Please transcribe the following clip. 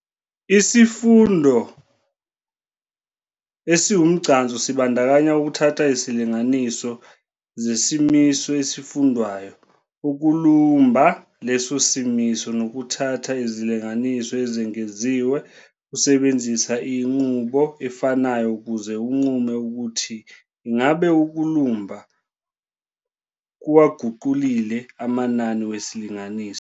Isifundo esiwumgcanso sibandakanya ukuthatha isilinganiso zesimiso esifundwayo, ukulumba leso simiso, nokuthatha izilinganiso ezengeziwe usebenzisa inqubo efanayo ukuze unqume ukuthi ingabe ukulumba kuwaguqulile amanani wesilinganiso.